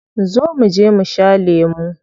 Zo muje mu sha lemu.